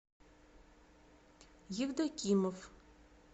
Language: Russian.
евдокимов